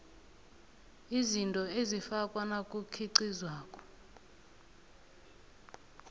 izinto ezifakwa nakukhiqizwako